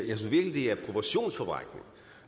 proportionsforvrængning